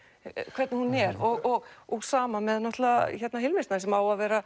hvernig hún er og og sama með Hilmi Snæ sem á að vera